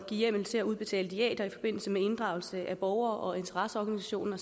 hjemmel til at udbetale diæter i forbindelse med inddragelse af borgere og interesseorganisationer